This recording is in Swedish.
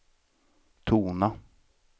tona